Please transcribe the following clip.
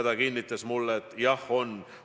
Ta kinnitas mulle, et jah on.